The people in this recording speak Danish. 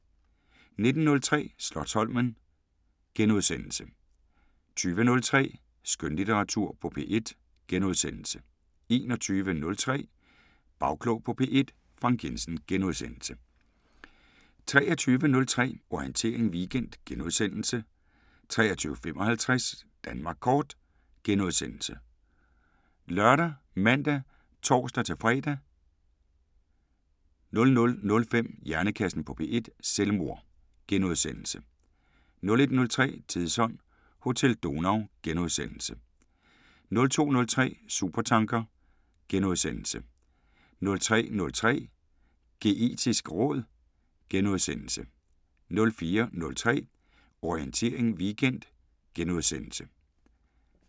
19:03: Slotsholmen * 20:03: Skønlitteratur på P1 * 21:03: Bagklog på P1: Frank Jensen * 23:03: Orientering Weekend * 23:55: Danmark Kort *( lør, man, tor-fre) 00:05: Hjernekassen på P1: Selvmord * 01:03: Tidsånd: Hotel Donau * 02:03: Supertanker * 03:03: Geetisk råd * 04:03: Orientering Weekend *